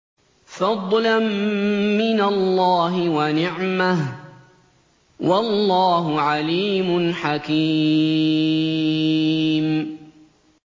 فَضْلًا مِّنَ اللَّهِ وَنِعْمَةً ۚ وَاللَّهُ عَلِيمٌ حَكِيمٌ